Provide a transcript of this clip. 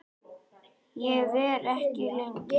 Ég verð ekki lengi